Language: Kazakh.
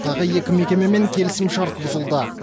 тағы екі мекемемен келісімшарт бұзылды